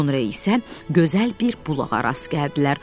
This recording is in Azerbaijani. Sonra isə gözəl bir bulağa rast gəldilər.